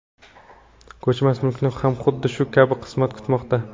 Ko‘chmas mulkni ham xuddi shu kabi qismat kutmoqda.